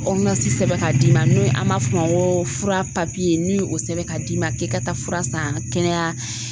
sɛbɛn ka d'i ma n'o ye an b'a f'o ma ko fura n'i ye o sɛbɛn k'a d'i ma k'i ka taa fura san kɛnɛya